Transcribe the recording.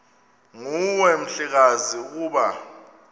nguwe mhlekazi ukuba